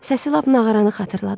Səsi lap nağaranı xatırladır.